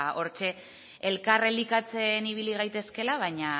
hortxe elkar elikatzen ibili gaitezkela baina